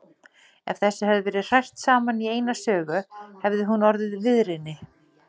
Ef þessu hefði verið hrært saman í eina sögu, hefði hún orðið viðrini.